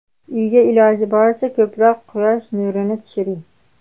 Uyga iloji boricha ko‘proq quyosh nurini tushiring.